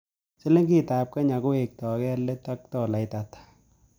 Sliingitap kenya kowekto gee let ak tolait ata